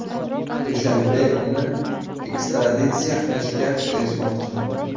Dushanbe uni ekstraditsiya qilishga erishmoqchi.